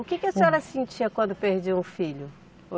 O que que a senhora sentia quando perdia um filho?